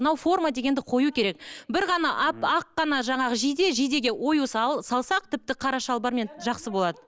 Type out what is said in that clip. мынау форма дегенді қою керек бір ғана ақ қана жаңағы жиде жидеге ою салсақ тіпті қара шалбармен жақсы болады